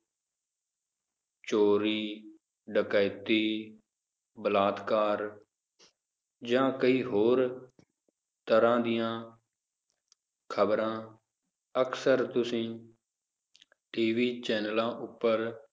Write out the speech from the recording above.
ਚੋਰੀ, ਡਕੈਤੀ, ਬਲਾਤਕਾਰ ਜਾਂ ਕਈ ਹੋਰ, ਤਰਾਹ ਦੀਆਂ ਖਬਰਾਂ, ਅਕਸਰ ਤੁਸੀਂ TV ਚੈਨਲਾਂ ਉਪਰ